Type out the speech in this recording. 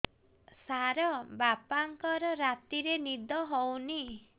ସାର ବାପାଙ୍କର ରାତିରେ ନିଦ ହଉନି